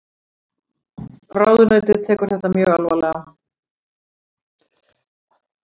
Ráðuneytið tekur þetta mjög alvarlega